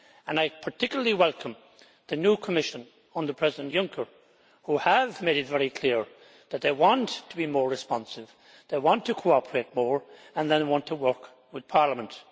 I particularly welcome the new Commission, under President Juncker, who have made it very clear that they want to be more responsive, they want to cooperate more and they want to work with Parliament.